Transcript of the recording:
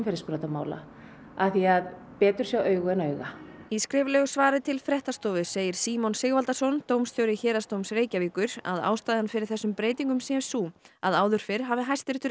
af því að betur sjá augu en auga í skriflegu svari til fréttastofu segir Símon Sigvaldason dómstjóri Héraðsdóms Reykjavíkur að ástæðan fyrir þessum breytingum sé sú að áður fyrr hafi Hæstiréttur ekki getað metið þennan